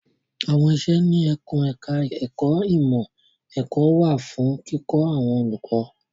À́wọn iṣẹ́ ní ẹkùn ẹ̀ka ẹ̀kó ìmọ̀ ẹ̀kọ́ wà fún kíkọ́ àwọn olùkọ́.